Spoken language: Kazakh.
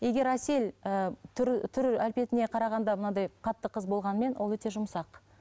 егер әсел ііі түр түр әлпетіне қарағанда мынандай қатты қыз болғанымен ол өте жұмсақ